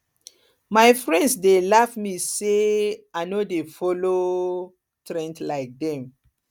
my friends dey laugh me say say i no dey follow um trend like dem